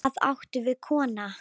Hvað áttu við, kona?